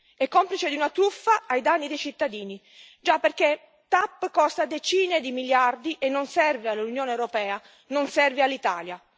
È complice di una truffa ai danni dei cittadini, perché TAP costa decine di miliardi e non serve all'Unione europea, non serve all'Italia.